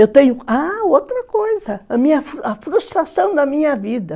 Eu tenho... Ah, outra coisa, a minha, a frustração da minha vida.